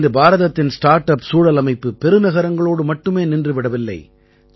இன்று பாரதத்தின் start up சூழலமைப்பு பெருநகரங்களோடு மட்டுமே நின்று விடவில்லை